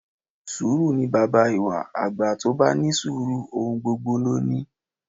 Sùúrù ni baba ìwà, àgbà tó bá ní sùúrù ohun gbogbo ló ní